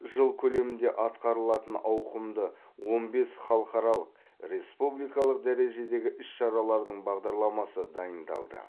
жыл көлемінде атқарылатын ауқымды он бес халықаралық республикалық дәрежедегі іс шаралардың бағдарламасы дайындалды